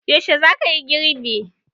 Yaushe za kayi girbi?